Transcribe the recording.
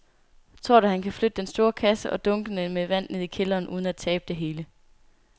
Tror du, at han kan flytte den store kasse og dunkene med vand ned i kælderen uden at tabe det hele?